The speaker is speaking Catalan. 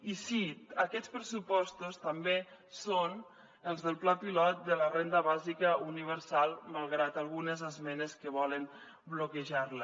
i sí aquests pressupostos també són els del pla pilot de la renda bàsica universal malgrat algunes esmenes que volen bloquejar la